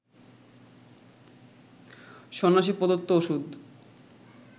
সন্ন্যাসী প্রদত্ত ওষুধ